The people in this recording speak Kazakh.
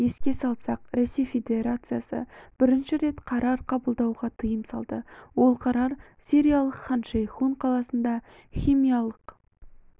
еске салсақ ресей федерациясы бірінші рет қарар қабылдауға тыйым салды ол қарар сириялық хан-шейхун қаласында химиялық